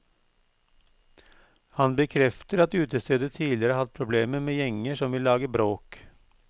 Han bekrefter at utestedet tidligere har hatt problemer med gjenger som vil lage bråk.